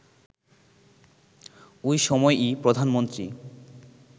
ওই সময়ই প্রধানমন্ত্রী